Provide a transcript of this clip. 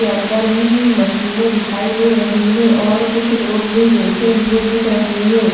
के अंदर भी मशीनें दिखाई दे रही हैं और कुछ लोग भी बैठे हुए दिख रहे हैं।